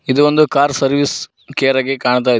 ಇದು ಒಂದು car service care ಆಗಿ ಕಾಣ್ತಾ ಇದೆ.